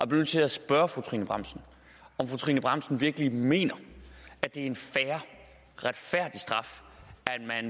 nødt til at spørge fru trine bramsen om fru trine bramsen virkelig mener at det er en fair retfærdig straf